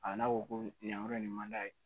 A n'a ko ko nin yɔrɔ in man d'a ye